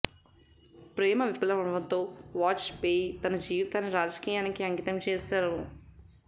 ప్రేమ విఫలమవ్వడంతో వాజ్ పేయి తన జీవితాన్ని రాజకీయానికి అంకితం చేశారు